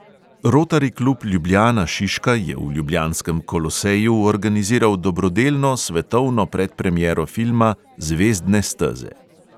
Rotari klub ljubljana šiška je v ljubljanskem koloseju organiziral dobrodelno svetovno predpremiero filma zvezdne steze.